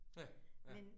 Ja, ja